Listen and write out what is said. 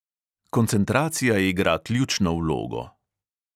Koncentracija igra ključno vlogo.